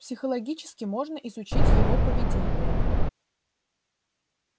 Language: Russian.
психологически можно изучить его поведение